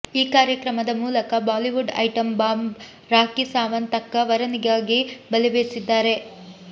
ಈ ಕಾರ್ಯಕ್ರಮದ ಮೂಲಕ ಬಾಲಿವುಡ್ ಐಟಂ ಬಾಂಬ್ ರಾಖಿ ಸಾವಂತ್ ತಕ್ಕ ವರನಿಗಾಗಿ ಬಲೆ ಬೀಸಿದ್ದಾರೆ